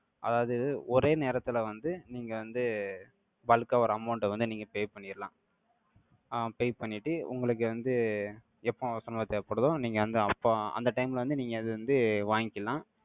அதாவது, ஒரே நேரத்துல வந்து, நீங்க வந்து, bulk ஆ, ஒரு amount அ வந்து, நீங்க, pay பண்ணிறலாம். ஆஹ் pay பண்ணிட்டு, உங்களுக்கு வந்து, எப்போ அவசரமா தேவைப்படுதோ, நீங்க வந்து, அப்போ அந்த time ல வந்து, நீங்க அதை வந்து, வாங்கிக்கலாம்.